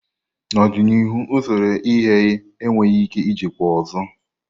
n'ọdịnihu usoro ighe enweghị ike ijikwa ọzọ.